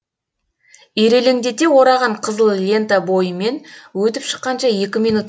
ирелеңдете ораған қызыл лента бойымен өтіп шыққанша екі минут